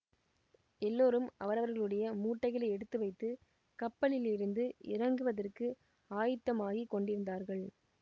எல்லோரும் அவரவர்களுடைய மூட்டைகளை எடுத்து வைத்து கப்பலிலிருந்து இறங்குவதற்கு ஆயத்தமாகிக் கொண்டிருந் தார்கள்